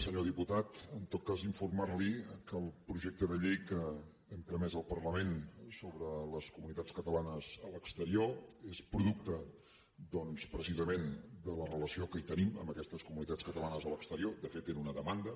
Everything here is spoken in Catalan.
senyor diputat en tot cas informar lo que el projecte de llei que hem tramès al parlament sobre les comunitats catalanes a l’exterior és producte doncs precisament de la relació que hi tenim amb aquestes comunitats catalanes a l’exterior de fet era una demanda